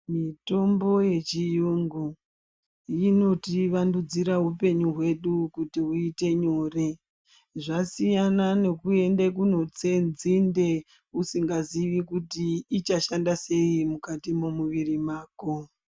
Mitombo yechiyungu inotivandudzira upenyu hwedu kuti uite nyore. Zvasiyana nekuende kunotse nzinde usingaziyi kuti ichashanda sei mukati momuviri mwako.